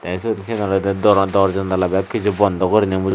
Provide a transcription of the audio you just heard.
te sot sen olode doriw dor jonola bek kiju bondow guriney muru.